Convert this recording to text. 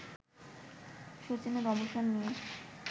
শচীনের অবসর নিয়ে